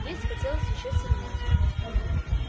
есть хотелось ещё сильнее